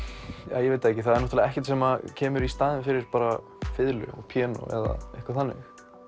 ég veit það ekki það er náttúrulega ekkert sem kemur í staðinn fyrir bara fiðlu og píanó eða eitthvað þannig